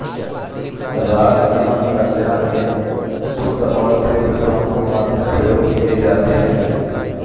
राग यमन कल्याण में शुद्ध और तीव्र दोनों मध्यम प्रयोग किए जाते हैं